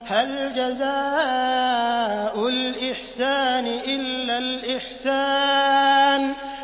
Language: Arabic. هَلْ جَزَاءُ الْإِحْسَانِ إِلَّا الْإِحْسَانُ